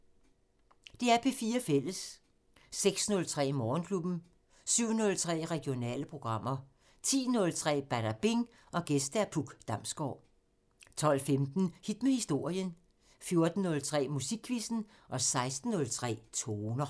06:03: Morgenklubben 07:03: Regionale programmer 10:03: Badabing: Gæst Puk Damsgård 12:15: Hit med historien 14:03: Musikquizzen 16:03: Toner